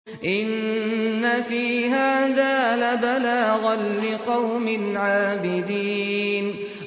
إِنَّ فِي هَٰذَا لَبَلَاغًا لِّقَوْمٍ عَابِدِينَ